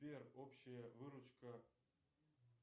сбер общая выручка